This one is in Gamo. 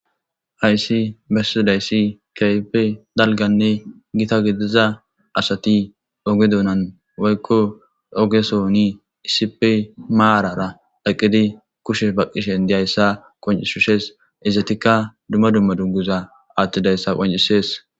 Haysi bessidayssi kahippe dalganne gita gidiza asati oge donan woykko ogesooni isipe maarara eqqidi kushe baqqishen diyayssa qoncishushes izetikka dumma dumma dugguza attidayssa qoncisees